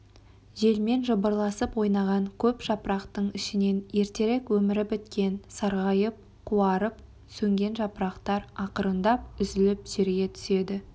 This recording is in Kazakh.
желмен жыбырласып ойнаған көп жапырақтың ішінсн ертерек өмірі біткен сарғайып қуарып сөнген жапырақтар ақырындап үзіліп жерге түседі